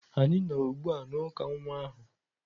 Anyị nọ ugbu a na uka nwa ahu.